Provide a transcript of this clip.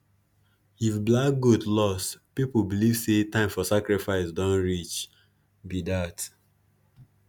if black goat lost people believe say time for sacrifice don reach be dat